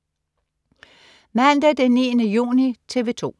Mandag den 9. juni - TV 2: